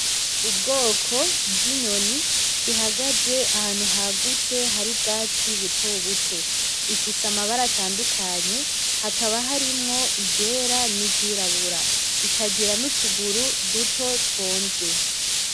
Ubwoko bw'inyoni ihagaze ahantu hagutse hari ubwatsi butobuto, ifise amabara atandukanye hakaba harimwo iryera n'iryirabura ikagira n'utuguru duto twonze.